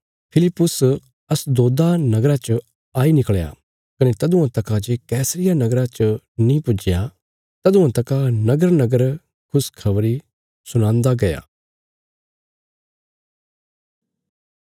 फिलिप्पुस अशदोदा नगरा च आई निकल़या कने तदुआं तका जे कैसरिया नगरा च नीं पुज्जया तदुआं तका नगरनगर खुशखबरी सुणांदा गया